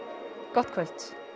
gott kvöld